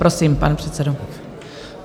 Prosím, pan předsedo.